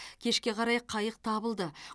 кешке қарай қайық табылды